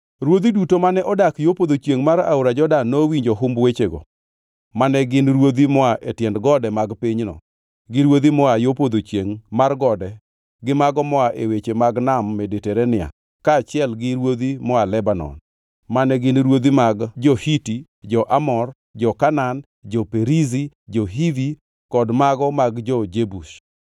Ruodhi duto mane odak yo podho chiengʼ mar aora Jordan nowinjo humb wechego; mane gin ruodhi moa e tiend gode mag pinyno, gi ruodhi moa yo podho chiengʼ mar gode gi mago moa e wedhe mag Nam Mediterania kaachiel gi ruodhi moa Lebanon (mane gin ruodhi mag jo-Hiti, jo-Amor, jo-Kanaan, jo-Perizi, jo-Hivi kod mago mag jo-Jebus);